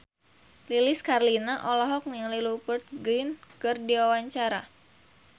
Lilis Karlina olohok ningali Rupert Grin keur diwawancara